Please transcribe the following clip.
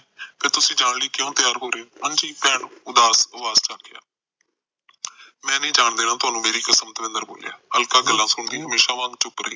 ਤੇ ਤੁਸੀ ਜਾਣ ਲਈ ਕਿਉ ਤਿਆਰ ਹੋ ਰਹੇ ਭੈਣ ਉਦਾਸ ਅਵਾਜ ਚ ਆਖਿਆ ਮੈ ਨਹੀਂ ਜਾਣ ਦੇਣਾ ਤੁਹਾਨੂੰ ਮੇਰੀ ਕਸਮ ਦਵਿੰਦਰ ਬੋਲਿਆ ਅਲਕਾ ਗੱਲਾਂ ਸੁਣਦੀ ਹਮੇਸਾ ਵਾਂਗ ਚੁਪ ਰਹੀ